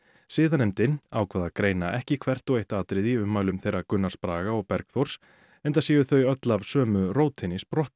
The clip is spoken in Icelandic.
siðanefndin ákvað að greina ekki hvert og eitt atriði í ummælum þeirra Gunnars Braga og Bergþórs enda séu þau öll af sömu rótinni sprottin